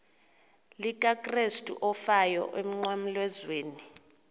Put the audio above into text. likakrestu owafayo emnqamlezweni